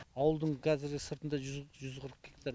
ауылдың қазіргі сыртында жүз жүз қырық гектар